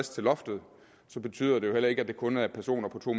til loftet betyder det jo heller ikke at det kun er personer på to